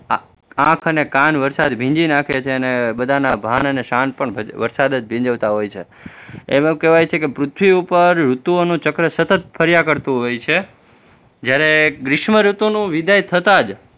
આંખ અને કાન વરસાદ ભીંજી નાખે છે અને બધાના ભાન અને શાન પણ વરસાદ જ ભીંજવતા હોય છે એવું કહેવાય છે કે પૃથ્વી ઉપર ઋતુઓનું ચક્ર સતત ફર્યા કરતુ હોય છે, જયારે ગ્રીષ્મ ઋતુની વિદાય થતા જ